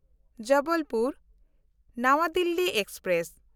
ᱡᱚᱵᱚᱞᱯᱩᱨ–ᱱᱟᱣᱟ Delhi express